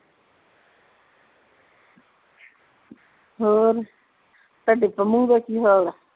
ਹੋਰ ਤੁਹਾਡੀ ਪੰਮੂ ਦਾ ਕੀ ਹਾਲ ਆ